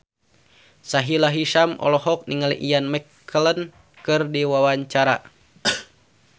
Sahila Hisyam olohok ningali Ian McKellen keur diwawancara